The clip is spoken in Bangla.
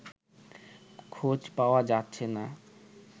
খোঁজ পাওয়া যাচ্ছে না